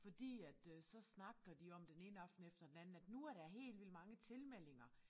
Fordi at øh så snakker de om den ene aften efter den anden at nu er der helt vildt mange tilmeldinger